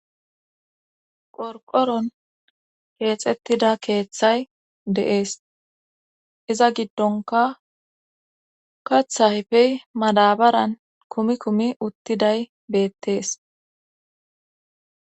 Qorqoron keexettida keeththay de7ees iza giddonka kathahfey madabaran kumi kumi uttiday beettees